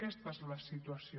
aquesta és la situació